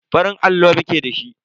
Farin allo muke da shi.